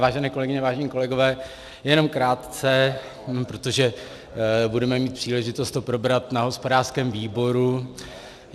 Vážené kolegyně, vážení kolegové, jenom krátce, protože budeme mít příležitost to probrat na hospodářském výboru.